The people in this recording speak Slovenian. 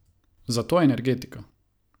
Zato Energetika.